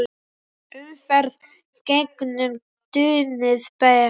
Umferð gegnum túnið ber.